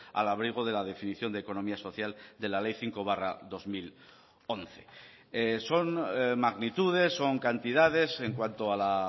al abrigo de la definición de economía social de la ley cinco barra dos mil once son magnitudes son cantidades en cuanto a la